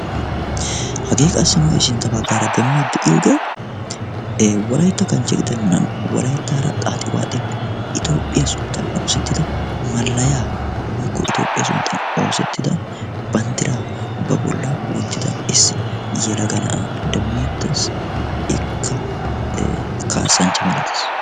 hagee qassi nu sintta baggaara demmidi de'iyooge wolaytta kanchche gidennan wolayttaara xaaxxi waaxxin toophiya sunttan oosettida malayaa woykko itoophiya sunttan oosettida banddiraa ba bolla wottida issi yelagaa na'aa demmettees. ikka kaasanchcha malatees.